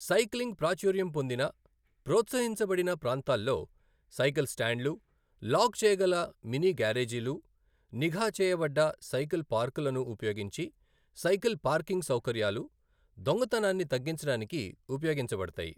Cycling ప్రాచుర్యం పొందిన, ప్రోత్సహించబడిన ప్రాంతాల్లో, సైకిల్ స్టాండ్లు, లాక్ చేయగల మినీ గ్యారేజీలు, నిఘా చెయ్యబడ్డ సైకిల్ పార్కులను ఉపయోగించి సైకిల్ పార్కింగ్ సౌకర్యాలు దొంగతనాన్ని తగ్గించడానికి ఉపయోగించబడతాయి.